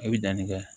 I bɛ danni kɛ